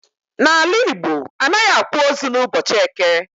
N'ala Igbo anaghị akwa ozu n'ụbọchị eke